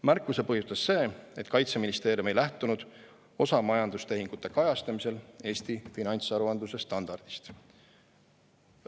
Märkuse põhjustas see, et Kaitseministeerium ei lähtunud osa majandustehingute kajastamisel Eesti finantsaruandluse standardist.